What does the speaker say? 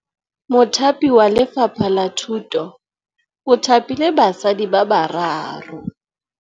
Mothapi wa Lefapha la Thutô o thapile basadi ba ba raro.